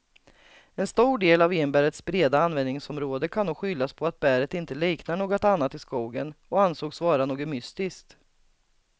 En stor del av enbärets breda användningsområde kan nog skyllas på att bäret inte liknar något annat i skogen och ansågs vara något mystiskt.